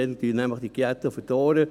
dann verdorrt das Unkraut auch.